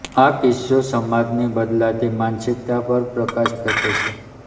આ કિસ્સો સમાજની બદલાતી માનસિકતા પર પ્રકાશ ફેંકે છે